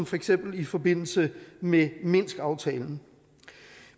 for eksempel i forbindelse med minskaftalen